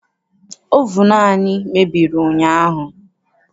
Ovunu anyị mebiri ụnyaahụ.